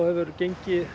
gengi